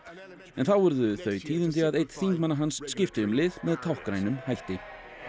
en þá urðu þau tíðindi að einn þingmanna hans skipti um lið með táknrænum hætti